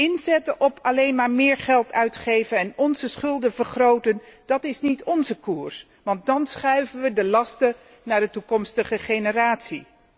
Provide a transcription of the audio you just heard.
Inzetten op alleen maar meer geld uitgeven en onze schulden vergroten, dat is niet onze koers, want dan schuiven we de lasten naar de toekomstige generatie.